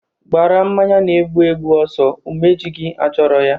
Gbara mmanya na-egbu egbu ọsọ.: Umeji gị achọrọ ya!